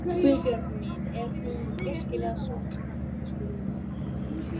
Guðbjörg mín, er hún virkilega svona slæm? spurði amma.